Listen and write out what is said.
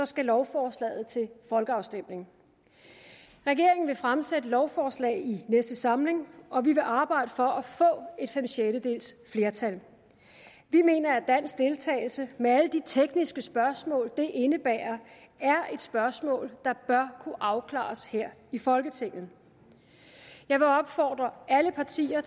skal lovforslaget til folkeafstemning regeringen vil fremsætte lovforslag i næste samling og vi vil arbejde for at få fem sjettedeles flertal vi mener at dansk deltagelse med alle de tekniske spørgsmål det indebærer er et spørgsmål der bør kunne afklares her i folketinget jeg vil opfordre alle partier